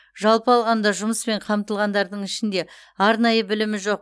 жалпы алғанда жұмыспен қамтылғандардың ішінде арнайы білімі жоқ